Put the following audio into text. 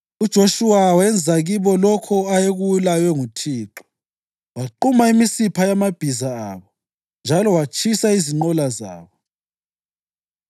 Ezizwaneni zakoJuda lezakoSimiyoni amadolobho abiwayo nanka ngamabizo awo